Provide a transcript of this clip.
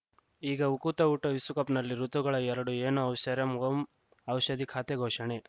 ಈಗ ಉಕುತ ಊಟ ವಿಶ್ವಕಪ್‌ನಲ್ಲಿ ಋತುಗಳು ಎರಡು ಏನು ಐಶ್ವರ್ಯಾ ಓಂ ಔಷಧಿ ಖಾತೆ ಘೋಷಣೆ